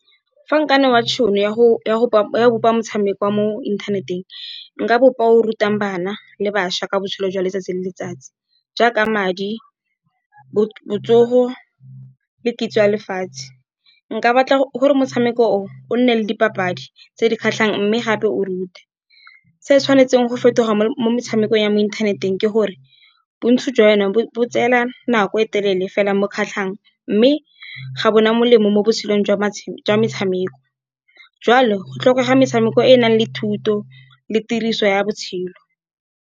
Fa nka newa tšhono ya go bopa motshameko wa mo inthaneteng, nka bopa o rutang bana le bašwa ka botshelo jwa letsatsi le letsatsi. Jaaka madi, botsogo le kitso ya lefatshe. Nka batla gore motshameko o nne le dipapadi tse di kgatlhang, mme gape o rute. Se o tshwanetseng go fetoga mo metshamekong ya mo inthaneteng, ke gore bontsi jwa yona bo tsela nako e telele fela mo kgatlhang, mme ga bona molemo mo botshelong jwa metshameko. Jwalo go tlhokega metshameko e e nang le thuto le tiriso ya botshelo.